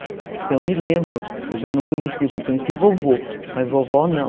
Então eu me lembro, eu já não conhecia, porque eu conheci vovô, mas vovó não.